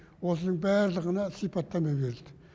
осының барлығына сипаттама берілді